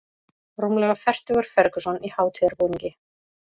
Rúmlega fertugur Ferguson í hátíðarbúningi